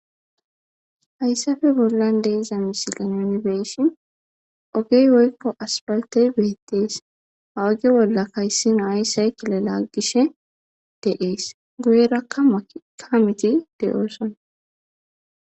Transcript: Hayssafe bollan de7iza misilen nuni be7shin ogey woykko aspaltey beettees ha oge bolla kayssina hayssay kilala gishe deees guyerakka ka miti de7oosona.